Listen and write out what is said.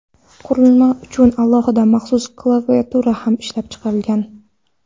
Qurilma uchun alohida maxsus klaviatura ham ishlab chiqilgan.